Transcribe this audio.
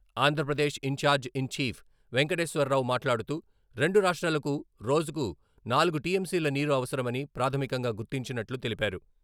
Andhra Pradesh incharge in chief Venkateswararao మాట్లాడుతూ..రెండు రాష్ట్రాలకు రోజుకు నాలుగు టిఎంసీ ల నీరు అవసరమని ప్రాధమికంగా గుర్తించినట్లు తెలిపారు.